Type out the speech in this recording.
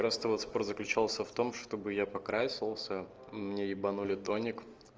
просто вот спор заключался в том чтобы я покрасился мне ебанули тоник